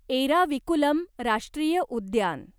एराविकुलम राष्ट्रीय उद्यान